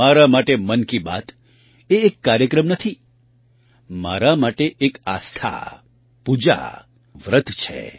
મારા માટે મન કી બાત એ એક કાર્યક્રમ નથી મારા માટે એક આસ્થા પૂજા વ્રત છે